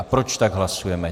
A proč tak hlasujeme.